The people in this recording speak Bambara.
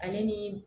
Ale ni